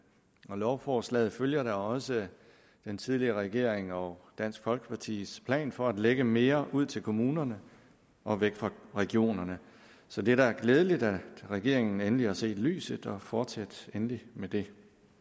lovforslaget følger da også den tidligere regering og dansk folkepartis plan for at lægge mere ud til kommunerne og væk fra regionerne så det er da glædeligt at regeringen endelig har set lyset fortsæt endelig med det